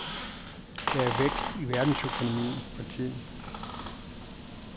Der er vækst i verdensøkonomien for tiden.